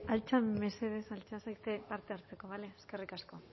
altza mesedez altza zaitez parte hartzeko bale eskerrik asko